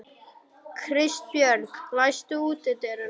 Kristbjörg, læstu útidyrunum.